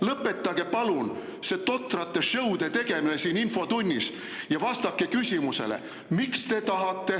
Lõpetage, palun, see totrate show'de tegemine siin infotunnis, ja vastake küsimusele, miks te tahate …